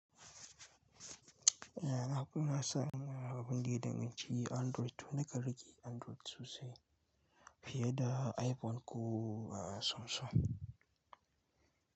Eh, haka na san abinda ya danganci Android, nakan riƙe Android sosai fiye da iPhone ko Samsung.